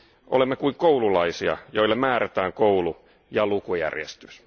Olemme kuin koululaisia, joille määrätään koulu ja lukujärjestys.